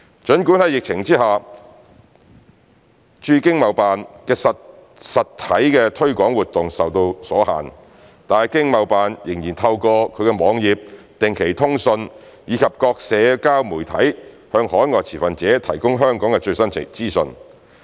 儘管在疫情之下，經貿辦的實體推廣活動受到阻限，但經貿辦仍透過其網頁、定期通訊，以及各社交媒體向海外持份者提供香港的最新資訊。